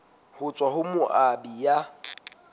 ho tswa ho moabi ya